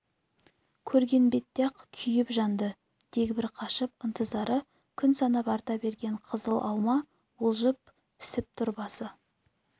көрген бетте-ақ күйіп-жанды дегбір қашып ынтызары күн санап арта берген қызыл алма уылжып пісіп тұр басы